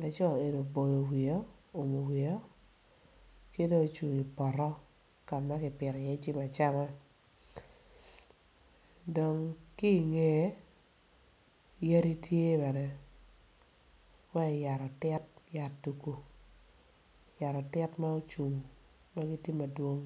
laco eni oboyo wiye oumo wiye o kidong ocungo ipoto kama kipito i ye jami acama dong ki ngeye yadi tye bene mayat atit yat tugu yat atit magucung magitye madwong.